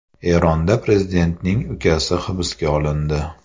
Eronda prezidentning ukasi hibsga olindi.